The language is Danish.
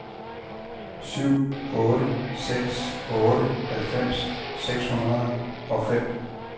syv otte seks otte halvfems seks hundrede og fem